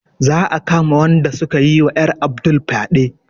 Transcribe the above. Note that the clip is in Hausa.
Za a kama wanda sukayi wa ƴar Abdul fyaɗe